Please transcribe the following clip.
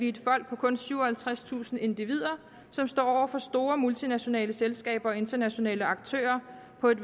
et folk på kun syvoghalvtredstusind individer som står over for store multinationale selskaber og internationale aktører på et